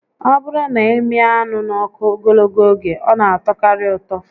Ọ bụrụ na ị mịa anụ n'ọkụ ogologo oge, ọ na atọkarị ụtọ